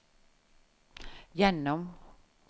gjennom